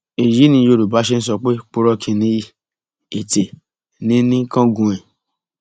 èyí ni yorùbá ṣe ń sọ pé purọ kí n níyì ètè ní í ní í kángun ẹ